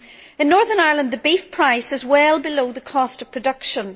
In Northern Ireland, the beef price is well below the cost of production.